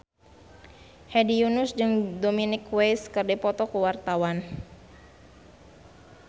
Hedi Yunus jeung Dominic West keur dipoto ku wartawan